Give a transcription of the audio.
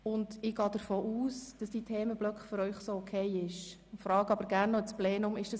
Ich gehe davon aus, dass die Themenblöcke für Sie so in Ordnung sind.